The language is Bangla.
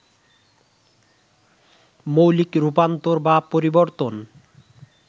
মৌলিক রূপান্তর বা পরিবর্তন